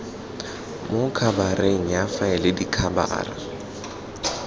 mo khabareng ya faele dikhabara